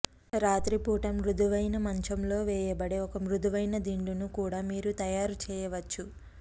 రాత్రిపూట మృదువైన మంచంలో వేయబడే ఒక మృదువైన దిండును కూడా మీరు తయారు చేయవచ్చు